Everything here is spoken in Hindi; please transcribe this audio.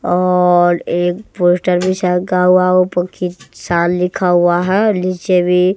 और एक पोस्टर भी शायद ऊपर लिखा हुआ है और नीचे भी--